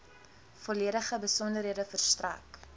volledige besonderhede verstrek